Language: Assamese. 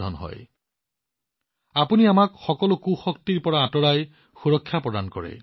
আপুনি আমাক সুৰক্ষা প্ৰদান কৰিব আৰু আমাক সকলো অশুভ শক্তিৰ পৰা আঁতৰাই ৰাখিব